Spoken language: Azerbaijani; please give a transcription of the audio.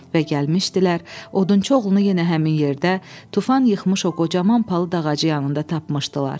Və gəlmişdilər, odunçu oğlunu yenə həmin yerdə tufan yıxmış o qocaman palıd ağacı yanında tapmışdılar.